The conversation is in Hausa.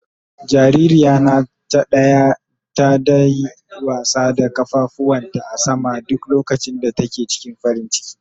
Jaririya na ta daya yi wasa da kafafuwan ta a sama duk lokacin da take cikin farin ciki.